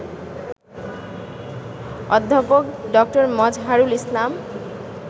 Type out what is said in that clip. অধ্যাপক ড. মযহারুল ইসলাম